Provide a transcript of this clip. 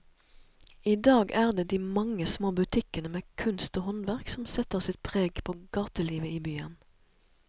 I dag er det de mange små butikkene med kunst og håndverk som setter sitt preg på gatelivet i byen.